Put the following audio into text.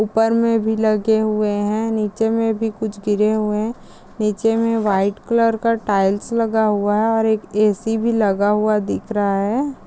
ऊपर में भी लगे हुए है नीचे में भी कुछ गिरे हुए नीचे में व्हाइट कलर का टाइल्स लगा हुआ है और एक ए.सी भी लगा हुआ दिख रहा है।